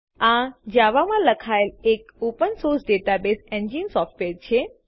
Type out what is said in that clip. આ જાવા માં લખાયેલ એક open source database engine software છે